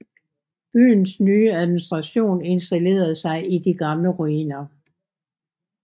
Byens nye administration installerede sig i de gamle ruiner